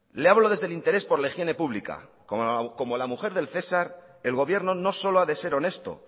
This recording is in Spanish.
le hablo desde el interés por la higiene pública como la mujer del cesar el gobierno no solo ha de ser honesto